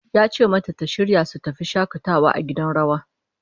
Ya ce mata ta shirya su tafi shakatawa a gidan rawa